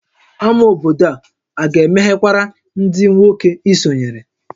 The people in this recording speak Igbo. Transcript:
Ámá obodo a ga-emeghekwara ndị nwoke i sonyere?